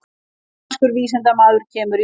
Íranskur vísindamaður kemur í leitirnar